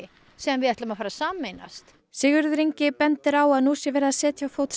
sem við ætlum að sameinast Sigurður Ingi bendir á að nú sé verið að setja á fót